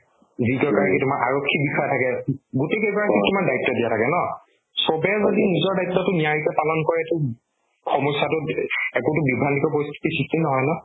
যিকেইগৰাকী তোমাৰ আৰক্ষী বিষয়া থাকে উব গোটেই কেইগৰাকীক তোমাৰ দায়িত্ৱ দিয়া থাকে ন চবে যদি নিজৰ দায়িত্ৱতো নিয়াৰিকৈ পালন কৰেতো সমস্যাতো একোতো বিভ্ৰান্ত পৰিস্থিতিৰ সৃষ্টি নহয় ন